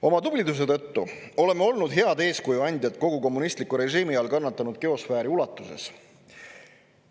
Oma tubliduse tõttu oleme olnud head eeskuju andjad kogu kommunistliku režiimi all kannatanud geosfääri ulatuses.